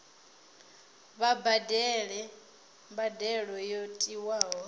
vha badele mbadelo yo tiwaho